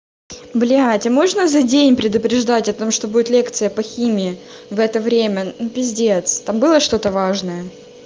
блять а можно за день предупреждать о том что будет лекция по химии в это время ну пиздец там было что-то важное